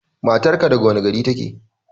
Matar ka daga wane gari take?